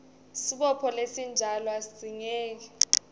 sibopho lesinjalo asidzingeki